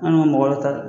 An ka mɔgɔ ta